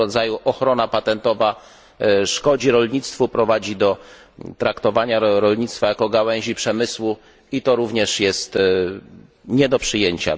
Tego rodzaju ochrona patentowa szkodzi rolnictwu, prowadzi do traktowania rolnictwa jako gałęzi przemysłu i to również jest nie do przyjęcia.